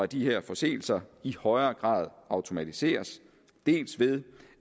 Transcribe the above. de her forseelser i højere grad automatiseres dels ved